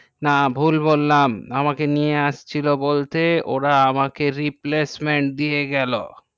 না ভুল বললাম আমাকে নিয়ে আসছিলো বলতে ওরা আমাকে replacement দিয়ে গেলো